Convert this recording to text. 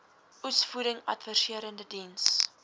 oesvoeding adviserende diens